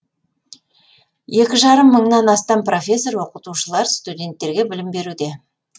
екі жарым мыңнан астам профессор оқытушылар студенттерге білім беруде